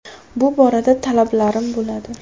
Bu borada talablarim bo‘ladi.